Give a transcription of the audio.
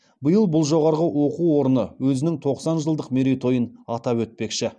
биыл бұл жоғары оқу орны өзінің тоқсан жылдық мерей тойын атап өтпекші